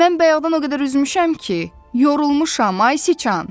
Mən bayaqdan o qədər üzmüşəm ki, yorulmuşam, ay siçan.